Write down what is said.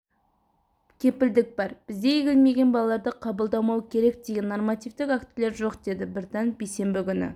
кепілдік бар бізде егілмеген балаларды қабылдамау керек деген нормативтік актілер жоқ деді біртанов бейсенбі күні